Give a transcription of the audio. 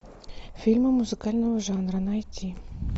фильмы музыкального жанра найти